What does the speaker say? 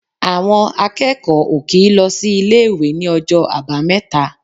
Àwọn akẹ́kọ̀ọ́ ò kì í lọ sí ilé-ìwé ní ọjọ́ Àbámẹ́ta.